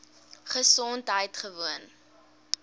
gesondheidgewoon